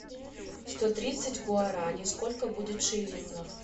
сто тридцать гуараней сколько будет шиллингов